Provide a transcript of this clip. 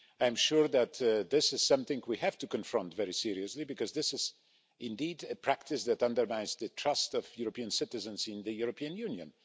I am sure that this is something we have to confront very seriously, because this is indeed a practice that undermines the trust of European citizens in the European Union.